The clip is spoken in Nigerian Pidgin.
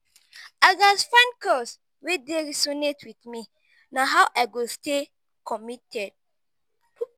i gats find cause wey dey resonate with me; na how i go stay committed.